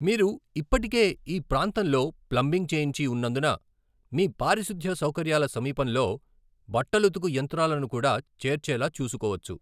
మీరు ఇప్పటికే ఈ ప్రాంతంలో ప్లంబింగ్ చేయించి ఉన్నందున మీ పారిశుధ్య సౌకర్యాల సమీపంలో బట్టలుతుకు యంత్రాలను కూడా చేర్చేలా చూసుకోవచ్చు.